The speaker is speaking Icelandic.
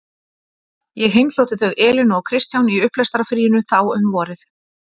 Ég heimsótti þau Elínu og Kristján í upplestrarfríinu þá um vorið.